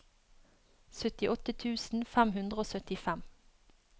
syttiåtte tusen fem hundre og syttifem